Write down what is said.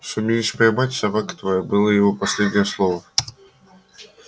сумеешь поймать собака твоя было его последнее слово